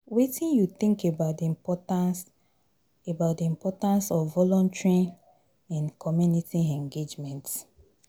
Wetin you think about di importance about di importance of volunteering in community engagement?